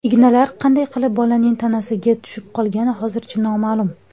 Ignalar qanday qilib bolaning tanasiga tushib qolgani hozircha noma’lum.